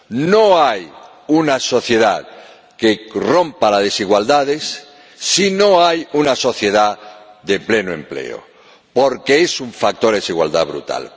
No hay una sociedad que rompa las desigualdades si no hay una sociedad de pleno empleo, porque el paro es un factor de desigualdad brutal.